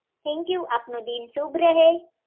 Thank you આપનો દિન શુભ રહે